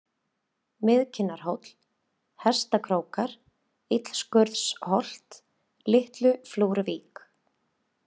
Miðkinnarhóll, Hestakrókar, Illaskurðsholt, Litluflúruvík